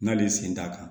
N'ale sen t'a kan